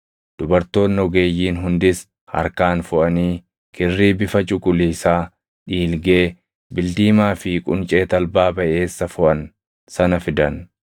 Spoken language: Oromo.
Dubartoonni ogeeyyiin hundis harkaan foʼanii kirrii bifa cuquliisaa, dhiilgee, bildiimaa fi quncee talbaa baʼeessa foʼan sana fidan.